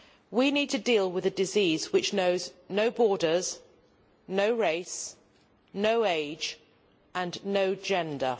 We need to deal with a disease which knows no borders, no race, no age and no gender.